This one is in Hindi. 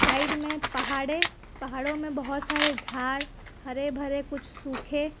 साइड में पहाड़े पहाड़ों में बहोत सारे झाड़ हरे भरे कुछ सुखे --